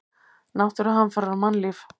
Náttúruhamfarir og mannlíf.